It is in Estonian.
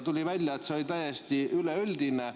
Tuli välja, et see oli seal täiesti üleüldine.